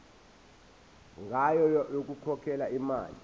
ngayo yokukhokhela imali